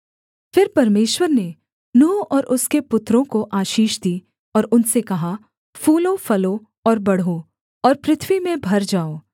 फिर परमेश्वर ने नूह और उसके पुत्रों को आशीष दी और उनसे कहा फूलोफलो और बढ़ो और पृथ्वी में भर जाओ